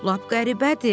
Lap qəribədir.